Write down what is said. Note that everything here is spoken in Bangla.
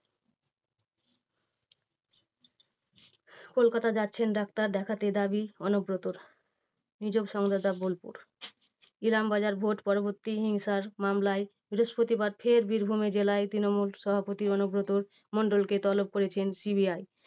কলকাতা যাচ্ছেন ডাক্তার দেখাতে দাবী অনুব্রতর। নিজস্ব সংবাদদাতা বোলপুর। ইলামবাজার ভোট পরবর্তী হিংসার মামলায় বৃহস্পতিবার ফের বীরভূম জেলায় তৃণমূল সভাপতি অনুব্রত মণ্ডলকে তলব করেছেন CBI